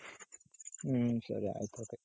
ಹ್ಮ್ ಸರಿ ಆಯ್ತ್ ಆಯ್ತು.